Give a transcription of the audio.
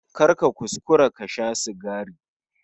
Kar ka kuskura ka sha sigari